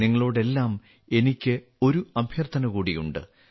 നിങ്ങളോടെല്ലാം എനിക്ക് ഒരു അഭ്യർത്ഥനകൂടിയുണ്ട്